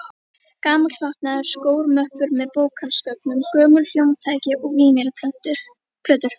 Gamall fatnaður, skór, möppur með bókhaldsgögnum, gömul hljómtæki og vínyl-plötur.